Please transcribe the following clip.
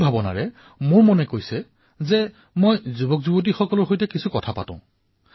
এই ভাৱৰ সৈতে মই আজি বিশেষকৈ যুৱচামৰ সৈতে কিছু কথা কোৱাৰ মন কৰিছো